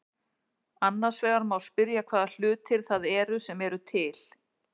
Annars vegar má spyrja hvaða hlutir það eru sem eru til.